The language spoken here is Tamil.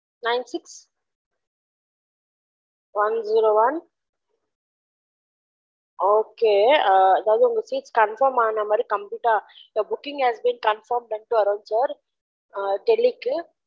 nine six one zero one okay அ அதாவது confirm ஆனமாரி complete your booking has been confirmed வரும் sir டெல்லிக்கு